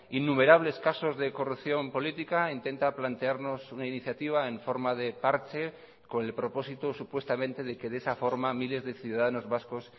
innumerables casos de corrupción política intenta plantearnos una iniciativa en forma de parche con el propósito supuestamente de que de esa forma miles de ciudadanos vascos